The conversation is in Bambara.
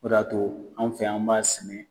O de ya to, anw fɛ yan , anw b'a sigi.